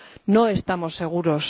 No estamos seguros.